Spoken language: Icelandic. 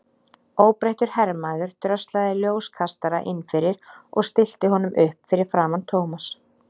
Óbreyttur hermaður dröslaði ljóskastara inn fyrir og stillti honum upp fyrir framan Thomas.